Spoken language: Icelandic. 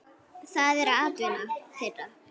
Það er atvinna þeirra.